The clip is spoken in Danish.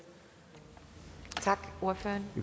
regeringen